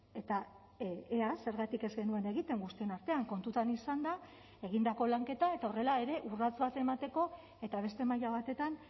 eta ea zergatik ez genuen egiten guztion artean kontutan izanda egindako lanketa eta horrela ere urrats bat emateko eta beste maila batetan